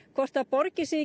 hvort það borgi sig